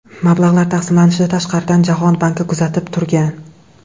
Mablag‘lar taqsimlanishini tashqaridan Jahon banki kuzatib turgan.